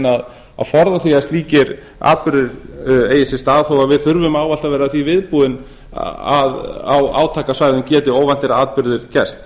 að forða því að slíkir atburðir eigi sér stað þó að við þurfum ávallt að vera því viðbúin að á átakasvæðum geti óvæntir atburðir gerst